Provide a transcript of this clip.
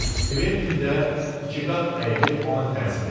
Kventin də ikiqat əyilib ona təzim elədi.